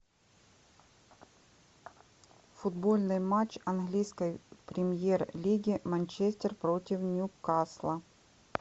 футбольный матч английской премьер лиги манчестер против ньюкасла